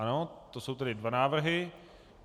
Ano, to jsou tedy dva návrhy.